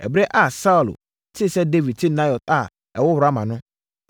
Ɛberɛ a Saulo tee sɛ Dawid te Naiot a ɛwɔ Rama no,